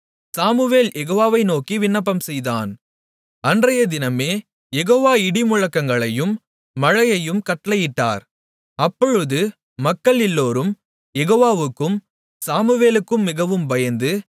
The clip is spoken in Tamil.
சாமுவேல் யெகோவாவை நோக்கி விண்ணப்பம்செய்தான் அன்றையதினமே யெகோவா இடிமுழக்கங்களையும் மழையையும் கட்டளையிட்டார் அப்பொழுது மக்கள் எல்லோரும் யெகோவாவுக்கும் சாமுவேலுக்கும் மிகவும் பயந்து